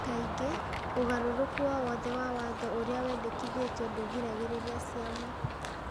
Kaingĩ, ũgarũrũku o wothe wa watho ũrĩa wendekithĩtio ndũgiragĩrĩria ciama ,